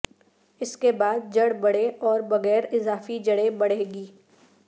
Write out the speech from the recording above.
اس کے بعد جڑ بڑے اور بغیر اضافی جڑیں بڑھے گی